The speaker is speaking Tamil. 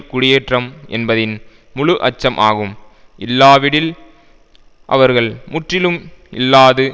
குடியேற்றம் என்பதின் முழுஅச்சம் ஆகும் இல்லாவிடில் அவர்கள் முற்றிலும் இல்லாது